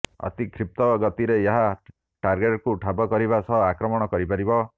ଅତି କ୍ଷୀପ୍ର ଗତିରେ ଏହା ଟାର୍ଗେଟ୍କୁ ଠାବ କରିବା ସହ ଆକ୍ରମଣ କରିପାରିବ